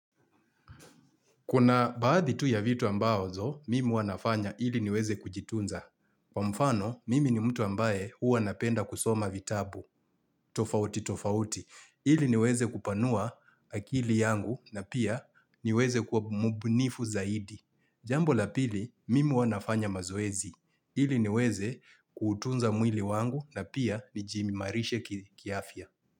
Kuna baadhi tu ya vitu ambazo, mimi huwa nafanya ili niweze kujitunza. Kwa mfano, mimi ni mtu ambaye huwa napenda kusoma vitabu, tofauti tofauti. Ili niweze kupanua akili yangu na pia niweze kuwa mbunifu zaidi. Jambo la pili, mimi huwa nafanya mazoezi. Ili niweze kutunza mwili wangu na pia nijiimarishe kiafya.